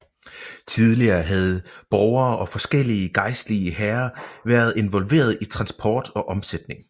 Tidligere havde borgere og forskellige gejstlige herrer været involverede i transport og omsætning